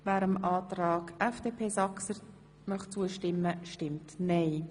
wer dem Antrag FDP Saxer zustimmen möchte, stimmt nein.